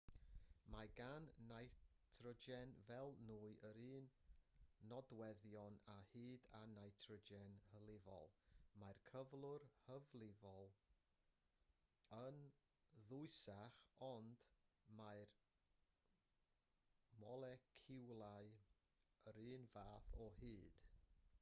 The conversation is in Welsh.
mae gan nitrogen fel nwy yr un nodweddion o hyd â nitrogen hylifol mae'r cyflwr hylifol yn ddwysach ond mae'r moleciwlau yr un fath o hyd